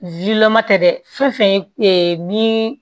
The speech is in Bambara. tɛ dɛ fɛn fɛn ye min